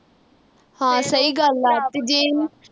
ਹਾਂ ਸਹੀ ਗੱਲ ਆ ਤੇ ਜੇ